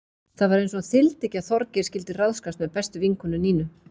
Það var eins og hann þyldi ekki að Þorgeir skyldi ráðskast með bestu vinkonu Nínu.